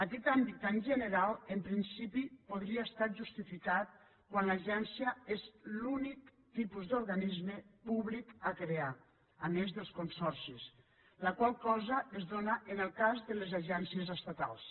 aquest àmbit tan general en principi podria estar justificat quan l’agència és l’únic tipus d’organisme públic per crear a més dels consorcis la qual cosa es dóna en el cas de les agències estatals